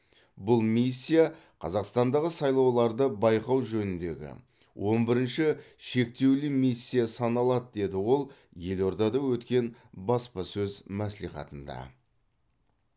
бұл миссия қазақстандағы сайлауларды байқау жөніндегі он бірінші шектеулі миссия саналады деді ол елордада өткен баспасөз мәслихатында